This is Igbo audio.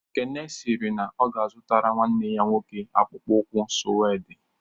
Ekene sịrị na ọ ga-azụrụ nwanne ya nwoke akpụkpọ ụkwụ suede